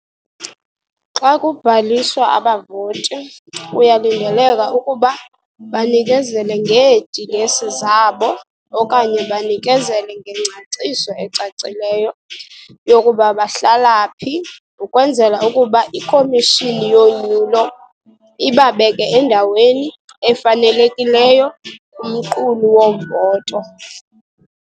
Xa kubhaliswa, abavoti kuyakulindeleka ukuba banikezele ngeedilesi zabo okanye banikezele ngengcaciso ecacileyo yokuba bahlala phi ukwenzela ukuba iKhomishini yoNyulo ibabeke endaweni efanelekileyo kumqulu wovoto.